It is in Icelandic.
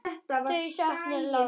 Hann saknaði láru.